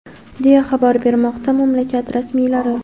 deya xabar bermoqda mamlakat rasmiylari.